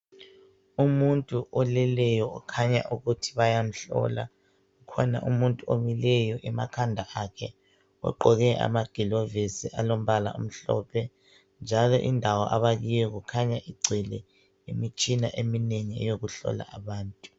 Umuntu oleleyo okhanya ukuthi bayamhlola, kukhona omuntu omileyo emakhanda akhe ogqoke amagilovisi alombala omhlophe njalo indawo abakiyo kukhanya igcwele imitshina eminengi eyokuhlola abantu.